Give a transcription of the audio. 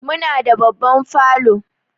Muna da babban falo.